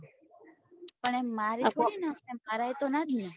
પણ મારી થોડી નખાય મરાયે તો ના જ ને